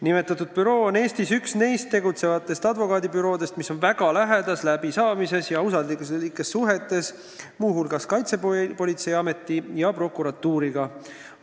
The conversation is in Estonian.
Nimetatud büroo on üks neist Eestis tegutsevatest advokaadibüroodest, mis on väga lähedases läbisaamises ja usalduslikes suhetes ka Kaitsepolitseiameti ja prokuratuuriga.